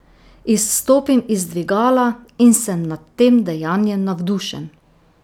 Izstopim iz dvigala in sem nad tem dejanjem navdušen.